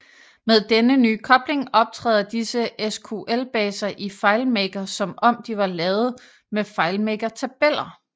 Med denne nye kobling optræder disse SQL baser i FileMaker som om de var lavet emd FileMaker tabeller